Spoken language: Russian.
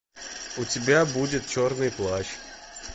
у тебя будет черный плащ